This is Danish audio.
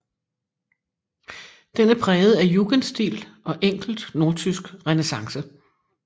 Den er præget af jugendstil og enkelt nordtysk renæssance